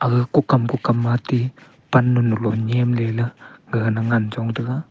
ga kukam kukam matey pannu lo nyemley ley gagana ngan chong taiga.